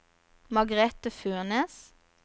Margrete Furnes